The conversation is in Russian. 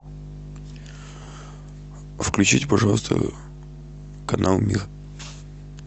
включите пожалуйста канал мир